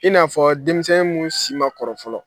I n'a fɔ denmisɛn mun si ma kɔrɔ fɔlɔ.